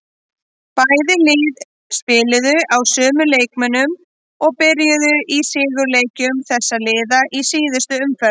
Bæði lið spiluðu á sömu leikmönnum og byrjuðu í sigurleikjum þessara liða í síðustu umferð.